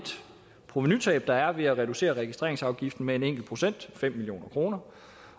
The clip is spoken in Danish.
provenutab der vil være ved at reducere registreringsafgiften med en enkelt procent nemlig fem million kroner